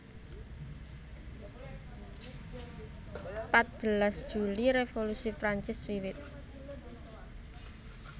Patbelas Juli Revolusi Prancis wiwit